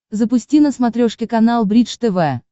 запусти на смотрешке канал бридж тв